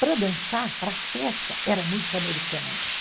Para dançar, para festa, era música americana mesmo.